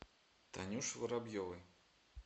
танюше воробьевой